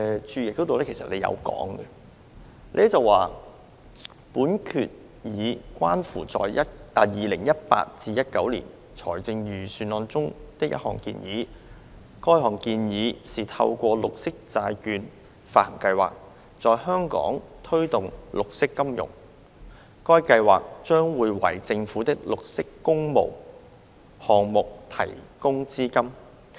政府在註釋是這樣寫的："本決議關乎在 2018-19 年度財政預算案中的一項建議。該項建議是透過綠色債券發行計劃，在香港推動綠色金融。該計劃將會為政府的綠色工務項目提供資金。